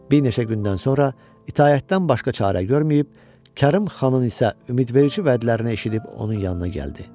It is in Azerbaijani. Bir neçə gündən sonra itaətdən başqa çarə görməyib, Kərim xanın isə ümidverici vədlərini eşidib onun yanına gəldi.